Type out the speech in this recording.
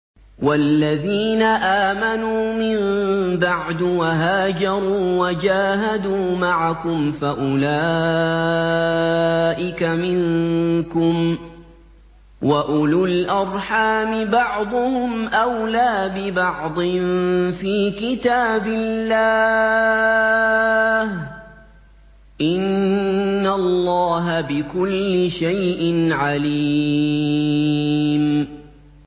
وَالَّذِينَ آمَنُوا مِن بَعْدُ وَهَاجَرُوا وَجَاهَدُوا مَعَكُمْ فَأُولَٰئِكَ مِنكُمْ ۚ وَأُولُو الْأَرْحَامِ بَعْضُهُمْ أَوْلَىٰ بِبَعْضٍ فِي كِتَابِ اللَّهِ ۗ إِنَّ اللَّهَ بِكُلِّ شَيْءٍ عَلِيمٌ